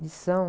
Lição?